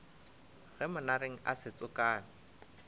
ge monareng a se tsokame